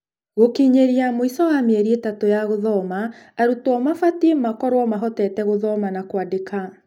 gũkinyĩria mũico wa mĩeri ĩtatu ya gũthoma arutwo mabatie mahotete gũthoma na kũandĩka.